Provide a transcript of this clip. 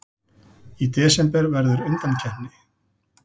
Í desember verður undankeppni.